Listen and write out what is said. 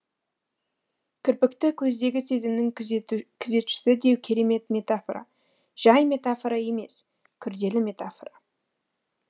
кірпікті көздегі сезімнің күзетшісі деу керемет метафора жай метафора емес күрделі метафора